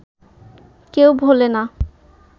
কেউ ভোলে না